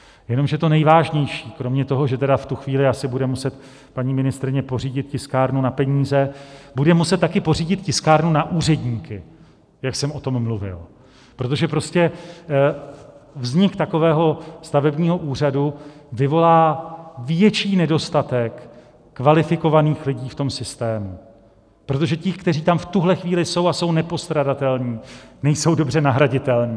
Jenomže to nejvážnější, kromě toho, že tedy v tu chvíli asi bude muset paní ministryně pořídit tiskárnu na peníze, bude muset taky pořídit tiskárnu na úředníky, jak jsem o tom mluvil, protože prostě vznik takového stavebního úřadu vyvolá větší nedostatek kvalifikovaných lidí v tom systému, protože ti, kteří tam v tuhle chvíli jsou a jsou nepostradatelní, nejsou dobře nahraditelní.